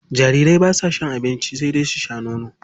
Jarirai basa cin abinci sai dai su sha nono.